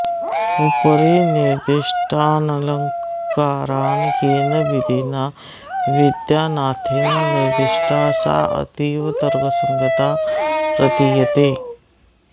उपरिनिदष्टानलङ्कारान् येन विधिना विद्यानाथेन निर्दिष्टा साऽतीव तर्कसङ्गता प्रतीयते